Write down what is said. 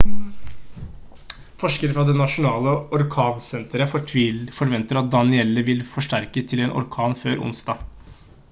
forskere fra det nasjonale orkansenteret forventer at danielle vil forsterkes til en orkan før onsdag